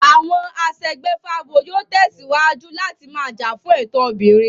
Àwọn aṣègbèfábo yóò tẹ̀síwájú láti máa jà fún ẹ̀tọ́ obìnrin